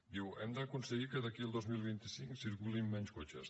diu hem d’aconseguir que d’aquí al dos mil vint cinc circulin menys cotxes